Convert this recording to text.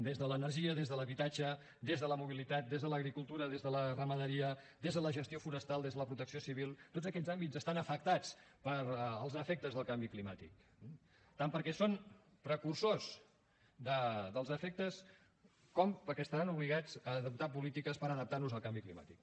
des de l’energia des de l’habitatge des de la mobilitat des de l’agricultura des de la ramaderia des de la gestió forestal des de la protecció civil tots aquests àmbits estan afectats pels efectes del canvi climàtic tant perquè són precursors dels efectes com perquè estaran obligats a adoptar polítiques per adaptar nos al canvi climàtic